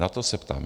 Na to se ptám.